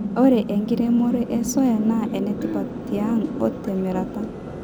ore enkiremore e soya naa enetipat tiang o te mirata